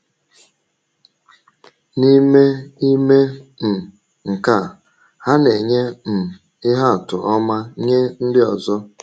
N’ime ime um nke a, ha na-enye um ihe atụ ọma nye ndị ọzọ.